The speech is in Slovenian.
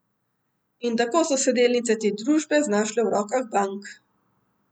In tako so se delnice te družbe znašle v rokah bank.